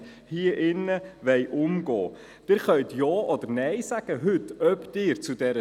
Soviel zur Information, damit sich diejenigen, die diese Geschäfte vertreten, vorbereiten können.